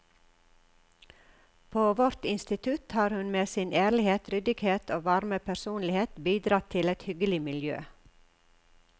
På vårt institutt har hun med sin ærlighet, ryddighet og varme personlighet bidratt til et hyggelig miljø.